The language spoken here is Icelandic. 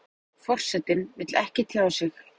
Forsetinn vill ekki tjá sig